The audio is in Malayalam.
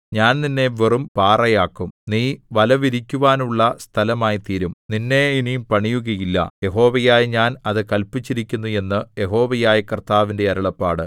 ഞാൻ നിന്നെ വെറും പാറയാക്കും നീ വലവിരിക്കുവാനുള്ള സ്ഥലമായിത്തീരും നിന്നെ ഇനി പണിയുകയില്ല യഹോവയായ ഞാൻ അത് കല്പിച്ചിരിക്കുന്നു എന്ന് യഹോവയായ കർത്താവിന്റെ അരുളപ്പാട്